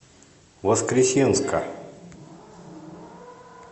воскресенска